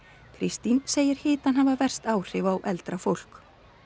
Kristín segir hitann hafa verst áhrif á eldra fólk